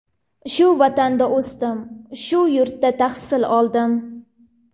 Shu vatanda o‘sdim, shu yurtda tahsil oldim.